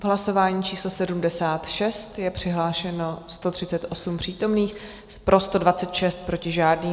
V hlasování číslo 76 je přihlášeno 138 přítomných, pro 126, proti žádný.